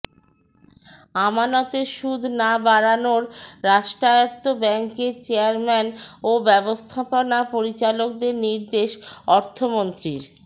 আমানতের সুদ না বাড়ানোর রাষ্ট্রায়ত্ত ব্যাংকের চেয়ারম্যান ও ব্যবস্থাপনা পরিচালকদের নির্দেশ অর্থমন্ত্রীর